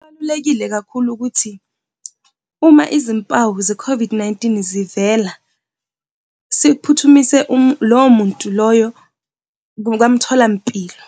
Kubalulekile kakhulu ukuthi uma izimpawu ze-COVID-19 zivela, siphuthumise lowo muntu loyo kamtholampilo.